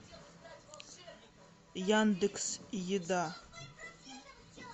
яндекс еда